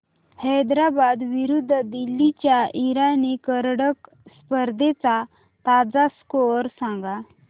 हैदराबाद विरुद्ध दिल्ली च्या इराणी करंडक स्पर्धेचा ताजा स्कोअर सांगा